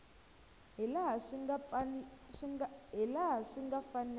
hi laha swi nga fanela